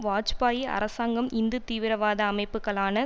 வாஜ்பாயி அரசாங்கம் இந்து தீவிரவாத அமைப்புக்களான